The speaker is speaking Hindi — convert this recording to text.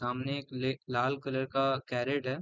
सामने एक ले लाल कलर का कैरट है।